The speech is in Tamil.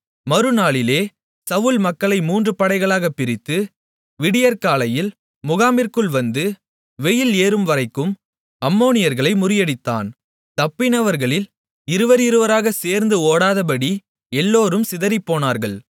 மறுநாளிலே சவுல் மக்களை மூன்று படைகளாக பிரித்து விடியற்காலையில் முகாமிற்குள் வந்து வெயில் ஏறும்வரைக்கும் அம்மோனியர்களை முறியடித்தான் தப்பினவர்களில் இருவர் இருவராக சேர்ந்து ஓடிப்போகாதபடி எல்லோரும் சிதறிப்போனார்கள்